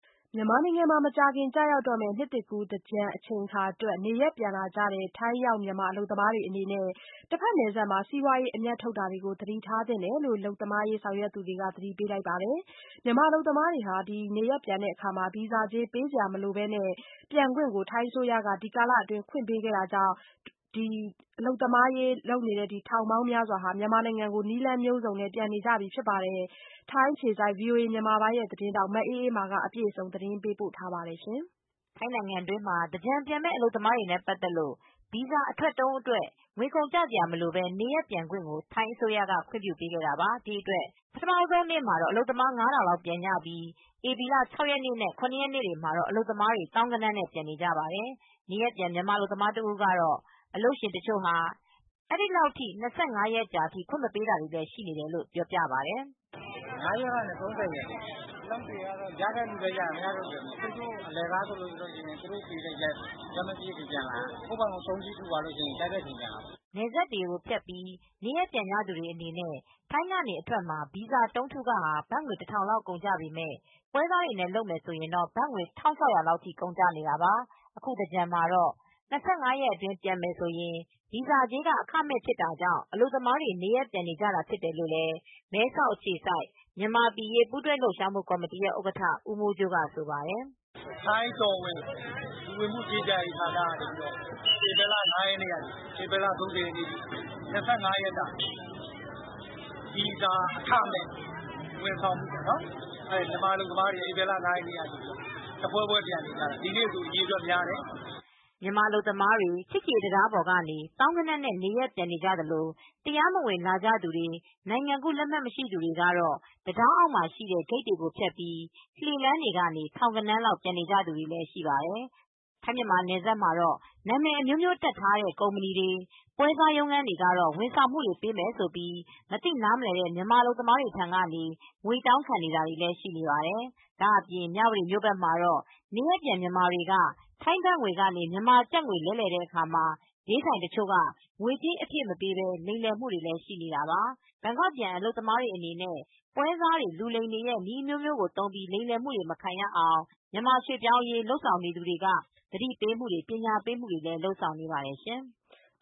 မြန်မာနိုင်ငံမှာ မကြာခင် ကျရောက်တော့မယ့် နှစ်သစ်ကူး သင်္ကြန်အချိန်အခါတွက် နေရပ်ပြန်လာကြတဲ့ ထိုင်းရောက် မြန်မာအလုပ်သမား တွေအနေနဲ့ တဘက်နယ်စပ်မှာ စီးပွားရေး အမြတ်ထုတ်မှုတွေ သတိထားသင့်တယ်လို့ အလုပ်သမားရေး ဆောင်ရွက်နေသူတွေက သတိပေး လိုက်ပါတယ်။ မြန်မာ အလုပ်သမားတွေကို ဗီဇာကြေး ပေးစရာမလိုပဲ နေရပ်ပြန်ဖို့ ထိုင်းအစိုးရက ဒီကာလအတွင်း ခွင့်ပေးခဲ့တာကြောင့် ရွှေ့ပြောင်းအလုပ်သမား ထောင်ပေါင်းများစွာ မြန်မာနိုင်ငံကို နည်းလမ်းမျိုးစုံနဲ့ ပြန်နေကြပြီ ဖြစ်ပါတယ်။ ထိုင်းအခြေစိုက် ဗွီအိုအေမြန်မာပိုင်း သတင်းထောက် မအေးအေးမာ သတင်းပေးပို့ ထားပါတယ်။ ထိုင်းနိုင်ငံတွင်းမှာ သင်္ကြန်ကာလ နေရပ်ပြန်ကြမယ့် အလုပ်သမားတွေနဲ့ ပတ်သက်လို့ ဗီဇာ အထွက်တုံးအတွက် ငွေကုန်ကျစရာမလိုပဲ နေရပ်ပြန်ခွင့် ထိုင်းအစိုးရက ခွင့်ပြုပေးခဲ့တာပါ။ ဒီအတွက် ပထမဦးဆုံးနေ့မှာတော့ အလုပ်သမား ၅ ထောင်လောက် ပြန်နေကြပြီး ဧပြီလ ၆ ရက်နဲ့ ၇ ရက်နေ့တွေမှာတော့ အလုပ်သမားတွေ သောင်းဂဏန်းနဲ့ ပြန်နေပါတယ်။ နေရပ်ပြန် မြန်မာအလုပ်သမား တဦးကတော့ တချို့ အလုပ်ရှင်တွေက အဲဒီလောက် ၂၅ ရက်ကြာအထိ ခွင့်မပေးတာ တွေ့ရတယ်လို့ ဆိုပါတယ်။ “ ၅ ရက်ကနေ ၃၀ရက်နေ့ထိ အလုပ်တွေက ခွင့်တွေလည်း ရတဲ့သူလည်းရတယ်။ မရတဲ့သူလည်း မရဘူး။ အလကား ဆိုလို့ရှိရင်တော့ သူတို့ပေးတဲ့ရက်ထိပဲ ပြန်လာရမယ်။ ကိုယ့်ဖာသာ တုံးကြီးထုသွားမယ်ဆိုရင်တော့ ကြိုက်တဲ့ရက် ပြန်လာလို့ရတယ်။” နယ်စပ်ကိုဖြတ်ပြီး နေရပ်ပြန်ကြသူတွေအနေနဲ့ ထိုင်းကနေ အထွက်မှာ ဗီဇာတုံးထုခ ဘတ်ငွေ လောက် ကုန်ကျပေမယ့် ပွဲစားတွေနဲ့ လုပ်မယ်ဆိုရင် ဘတ်ငွေ ထိ ကုန်ကျတာပါ။ အခုသင်္ကြန်မှာတော့ ၂၅ ရက်အတွင်း ပြန်မယ်ဆိုရင် ဗီဇာကြေးက အခမဲ့ ဖြစ်တာကြောင့် အလုပ်သမားတွေ နေရပ်ပြန်နေကြတာ ဖြစ်တယ်လို့မဲဆောက်အခြေစိုက် မြန်မာအရေး ပူးတွဲလှုပ်ရှားမူကော်မတီ ဥက္ကဌ ဦးမိုးကြိုးက ပြောပါတယ်။ “ထိုင်းတော်ဝင် လူဝင်မှုကြီးကြပ်ရေး ဌာနကနေ ဧပြီလ ၅ ရက်နေ့ကနေ ၃၀ ရက်နေ့အထိ ဗီဇာအခမဲ့ ဝန်ဆောင်မှုပေးတယ်။ မြန်မာ အလုပ်သမားတွေက ဧပြီလ ၅ ရက်နေ့ကစလို့ တဖွဲဖွဲပြန်နေကြတယ်။ ဒီနေ့ဆို အရေအတွက် များတယ်” မြန်မာအလုပ်သမားတွေ ချစ်ကြည်ရေးတံတားပေါ်ကနေ သောင်းဂဏန်းနဲ့ချီ နေရပ်ပြန်နေကြသလို တရားမဝင် လာကြသူတွေ၊ နိုင်ငံကူးလက်မှတ် မရှိသူတွေကတော့ တံတားအောက်မှာရှိတဲ့ ဂိတ်တွေကိုဖြတ်ပြီး လှေလမ်းကနေ ထောင်ဂဏန်းလောက် ပြန်နေကြ သူတွေလည်း ရှိကြပါတယ်။ ထိုင်းမြန်မာ နယ်စပ်မှာတော့ နာမည်အမျိုးမျိုးတပ်ထားတဲ့ ကုမ္ပဏီတွေ၊ ပွဲစားရုံးခန်းတွေကတော့ ဝန်ဆောင်မှု ပေးမယ်ဆိုပြီး မသိနားမလည်တဲ့ မြန်မာအလုပ်သမားတွေ ထံကနေ ငွေတောင်းခံ နေတာတွေလည်း ရှိပါတယ်။ ဒါ့အပြင် မြဝတီမြို့မှာတော့ နေရပ်ပြန် မြန်မာတွေက ထိုင်းဘတ်ငွေကနေ မြန်မာကျပ်ငွေ လဲလှယ်တဲ့အခါ ဈေးဆိုင်တချို့က ငွေကြေး အပြည့်မပေးပဲ လိမ်လည်မှုတွေလဲ ရှိနေတာပါ။ ဘန်ကောက်ပြန် အလုပ်သမားတွေအနေနဲ့ ပွဲစားတွေ လူလိမ်တွေရဲ့ နည်းအမျိုးမျိုးသုံးပြီး လိမ်လည်မှုတွေ မခံရအောင် မြန်မာရွှေ့ပြောင်းအလုပ်သမားရေး လုပ်ဆောင်နေသူတွေက သတိပေးတာ၊ ပညာပေးတာတွေကို လုပ်ဆောင်နေပါတယ်ရှင်။